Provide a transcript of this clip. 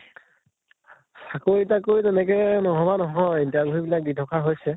চাকৰি তাকৰি তেনেকে নভবা নহয়, interview বিলাক দি থকা হৈছে